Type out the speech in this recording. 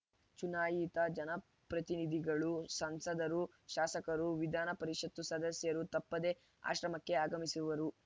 ಚುನಾಯಿತ ಜನಪ್ರತಿನಿಧಿಗಳು ಸಂಸದರು ಶಾಸಕರು ವಿಧಾನ ಪರಿಷತ್‌ ಸದಸ್ಯರು ತಪ್ಪದೆ ಆಶ್ರಮಕ್ಕೆ ಆಗಮಿಸುವರು